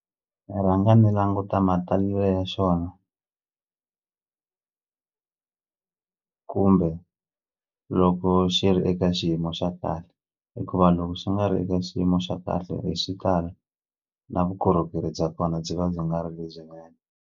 Ni rhanga ndzi languta matalelo ya xona kumbe loko xi ri eka xiyimo xa kahle hikuva loko xi nga ri eka xiyimo xa kahle hi xitalo na vukorhokeri bya kona byi va byi nga ri lebyinene.